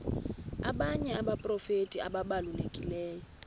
abanye abaprofeti ababalulekileyo